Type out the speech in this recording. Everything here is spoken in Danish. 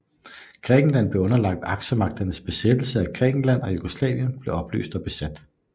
Grækenland blev underlagt Aksemagternes besættelse af Grækenland og Jugoslavien blev opløst og besat